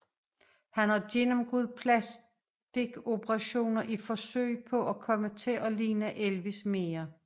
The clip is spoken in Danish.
Han har gennemgået plastiskoperationer i forsøg på at komme til at ligne Elvis mere